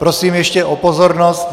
Prosím ještě o pozornost.